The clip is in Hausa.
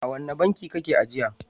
A wane banki kake ajiya?